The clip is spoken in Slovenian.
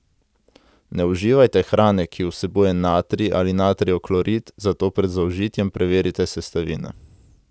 Ne uživajte hrane, ki vsebuje natrij ali natrijev klorid, zato pred zaužitjem preverite sestavine.